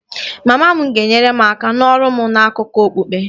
Mama m ga-enyere m aka n'ọrụ m na akụkọ okpukpe